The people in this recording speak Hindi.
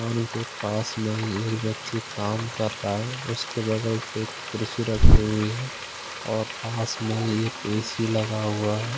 फोन के पास में ही एक व्यक्ति काम कर रहा है उसके बगल से एक कुर्सी रखी हुई है और पास में ही ए_सी लगा हुआ है।